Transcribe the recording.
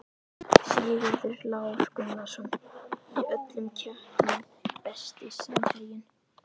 Sigurður Lár Gunnarsson í öllum keppnum Besti samherjinn?